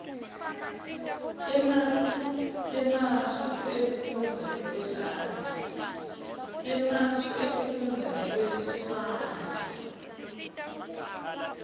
temasu ekufundza nekwehlwaya